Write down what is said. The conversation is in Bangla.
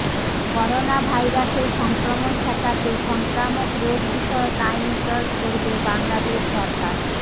করোনাভাইরাসের সংক্রমণ ঠেকাতে সংক্রামক রোগ বিষয়ক আইন প্রয়োগ করবে বাংলাদেশ সরকার